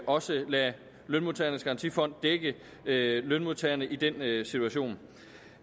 også at lade lønmodtagernes garantifond dække lønmodtagerne i den situation